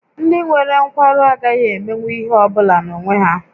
Ndị nwere nkwarụ agaghị emenwu ihe ọ bụla n'onwe ha